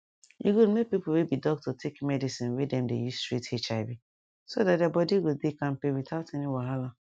e good make people wey be doctor take medicine wey dem dey use treat hiv so that their body go dey kampe without any wahala